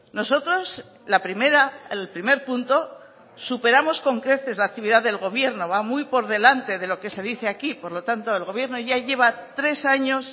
nosotros la primera el primer punto superamos con creces la actividad del gobierno va muy por delante de lo que se dice aquí por lo tanto el gobierno ya lleva tres años